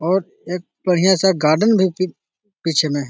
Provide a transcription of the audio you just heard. और एक बढ़ियां सा गार्डन भी पि पीछे मे है ।